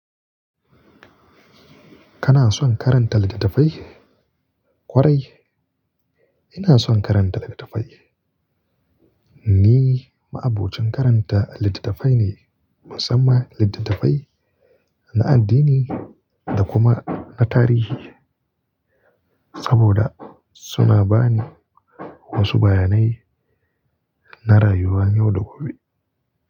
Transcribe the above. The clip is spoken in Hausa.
Ka na son karanta littattafai? Kwarai, ina son karanta littattafai. Ni ma'abocin karanta littattafai ne, musamman littattafai na addini da kuma na tarihi, saboda suna ba ni wasu bayanai na rayuwa yau da gobe.